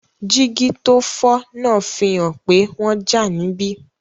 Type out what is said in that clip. Jígí tó fọ́ náà fi hàn pé wọ́n jà níbí